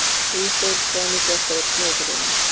Ísól, hvað er mikið eftir af niðurteljaranum?